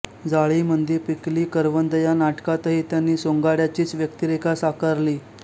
जाळीमंदी पिकली करवंदं या नाटकातही त्यांनी सोंगाड्याचीच व्यक्तिरेखा साकारली